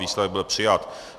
Výsledek byl přijat.